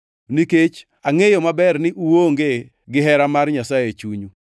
nikech angʼeyou maber ni uonge gihera mar Nyasaye e chunyu.